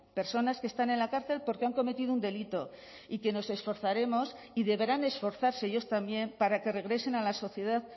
personas que están en la cárcel porque han cometido un delito y que nos esforzaremos y deberán esforzarse ellos también para que regresen a la sociedad